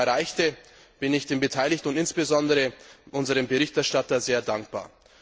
Für das Erreichte bin ich den Beteiligten und insbesondere unserem Berichterstatter sehr dankbar.